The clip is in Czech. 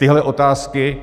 Tyhle otázky,